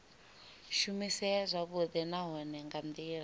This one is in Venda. shumisea zwavhudi nahone nga ndila